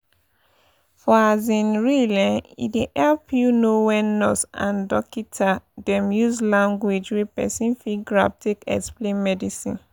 for um real eh e dey epp u know eh wen nurse and dokita dem use lanugauge wey pesin fit grab take explain medicine.